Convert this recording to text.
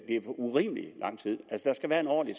urimelig lang tid der skal være en ordentlig